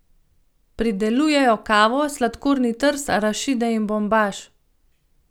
Pridelujejo kavo, sladkorni trs, arašide in bombaž.